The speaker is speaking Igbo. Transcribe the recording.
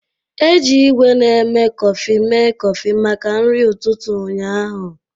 Eji igwé na-eme kọfị mee kọfị maka nri ụtụtụ ụnyaahụ.